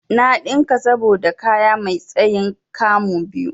Na ɗinka saboda kaya mai tsayin 'kamu' biyu.